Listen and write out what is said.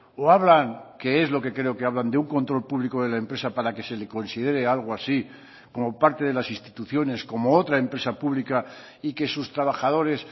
o hablan que es lo que creo que hablan de un control público de la empresa para que se le considere algo así como parte de las instituciones como otra empresa pública y que sus trabajadores